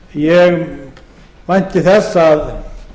ég vænti þess að